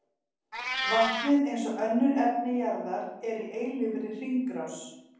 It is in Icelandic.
Vatnið, eins og önnur efni jarðar, er í eilífri hringrás.